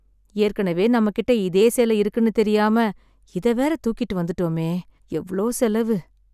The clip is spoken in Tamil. ஏற்கனவே நம்மகிட்ட இதே சேலை இருக்குன்னு தெரியாம இத வேற தூக்கிட்டு வந்துட்டோமே. எவ்ளோ செலவு.